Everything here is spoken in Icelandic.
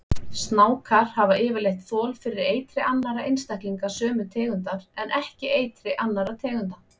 Snákar hafa yfirleitt þol fyrir eitri annarra einstaklinga sömu tegundar en ekki eitri annarra tegunda.